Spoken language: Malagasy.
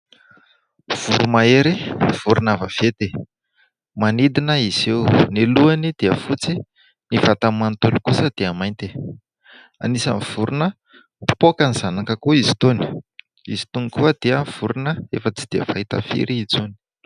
Voro-mahery, vorona vaventy, manidina izy io, ny lohany dia fotsy, ny vatany manontolo kosa dia mainty, anisany vorona mpifaoka ny zanak'akoho izy itony, izy itony koa dia vorona efa tsy dia fahita firy intsony.